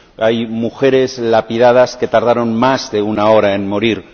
Hay mujeres lapidadas que tardaron más de una hora en morir.